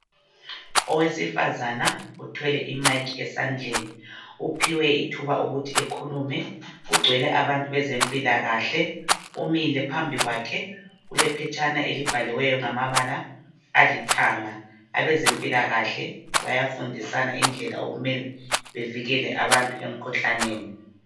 Owesifazana uthwele imayikhi esandleni. Uphiwe ithuba ukuthi ekhulume. Kugcwele abantu bezempilakahle. Umile phambi kwakhe ulephetshana elibhaliweyo ngamabala alithanga. Abezempilakahle bayafundisana indlela okumele bevikele abantu emkhuhlaneni.